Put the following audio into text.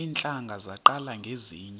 iintlanga zaqala ngezinje